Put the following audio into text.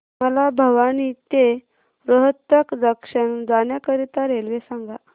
मला भिवानी ते रोहतक जंक्शन जाण्या करीता रेल्वे सांगा